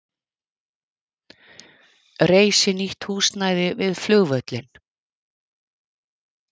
Reisi nýtt húsnæði við flugvöllinn